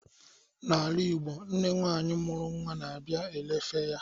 N'ala Igbo, nne nwanyi mụrụ nwa na abịa elefe ya